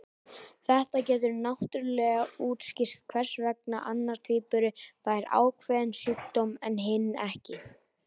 Þetta getur náttúrulega útskýrt hvers vegna annar tvíburi fær ákveðinn sjúkdóm en hinn ekki.